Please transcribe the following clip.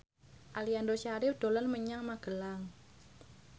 Aliando Syarif dolan menyang Magelang